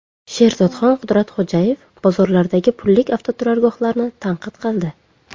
Sherzodxon Qudratxo‘jayev bozorlardagi pullik avtoturargohlarni tanqid qildi.